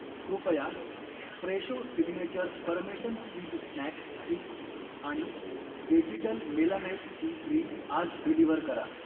कृपया Fresho signature parmesan cheese snack sticks आणि व्हेजीटल मेलानाइट सी क्रीम आज डिलिव्हर करा.